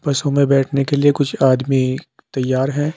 बसों में बैठने के लिए कुछ आदमी तैयार हैं।